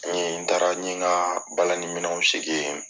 n taara, n ɲe nka balani minew sigi yen